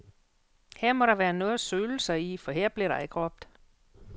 Her må der være noget at søle sig i, for her blev der ikke råbt.